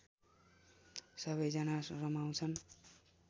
सबैजना रमाउँछन्